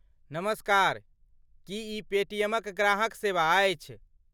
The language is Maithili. नमस्कार, की ई पेटीएमक ग्राहक सेवा अछि?